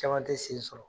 Caman tɛ sen sɔrɔ